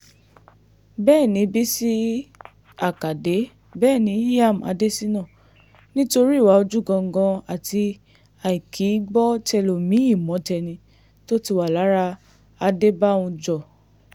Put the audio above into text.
Bẹẹni Bisi Akade bẹẹni Ilyam Adesina, nitori iwa oju gangan ati aikigbọtẹlomii mọtẹni to ti wa lara Adebanjọ